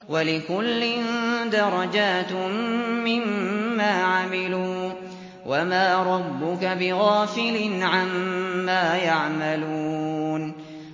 وَلِكُلٍّ دَرَجَاتٌ مِّمَّا عَمِلُوا ۚ وَمَا رَبُّكَ بِغَافِلٍ عَمَّا يَعْمَلُونَ